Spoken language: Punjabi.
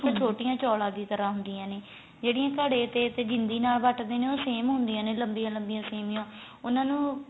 ਛੋਟੀਆਂ ਚੋਲਾ ਦੀ ਤਰ੍ਹਾਂ ਦੀ ਹੁੰਦੀਆਂ ਨੇ ਜਿਹੜੀਆਂ ਘੜੇ ਤੇ ਤੇ ਜਿੰਦੀ ਨਾਲ ਵੱਟਦੇ ਨੇ ਉਹ same ਹੁੰਦੀਆਂ ਨੇ ਲੰਬੀਆਂ ਲੰਬੀਆਂ ਸੇਮੀਆਂ ਉਹਨਾ ਨੂੰ